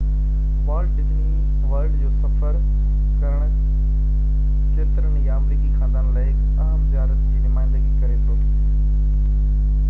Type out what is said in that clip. Walt Disney World جو سفر ڪرڻ ڪيترن ئي آمريڪي خاندانن لاءِ هڪ اهم زيارت جي نمائندگي ڪري ٿو